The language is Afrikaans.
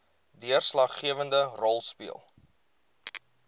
deurslaggewende rol speel